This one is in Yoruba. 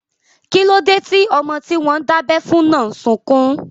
Kíló dé tí ọmọ tí wọ́n dábẹ́ fún náà n sọkún?